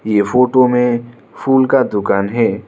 ये फोटो में फूल का दुकान है।